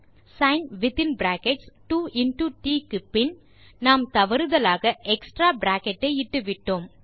sin2ட் க்குப்பின் நாம் தவறுதலாக எக்ஸ்ட்ரா பிராக்கெட் ஐ இட்டுவிட்டோம்